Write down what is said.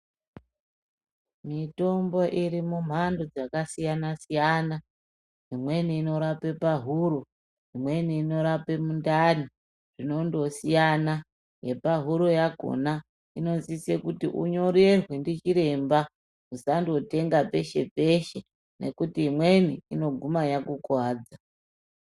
Mitombo iri mumhando dzakasiyana-siyana, imweni inorape pahuro, imweni inorape mundani zvinondosiyana yepahuro yakhona inosise kuti unyorerwe ndichiremba, musandotenga peshe peshe ngekuti imweni inoguma yakukuwadza.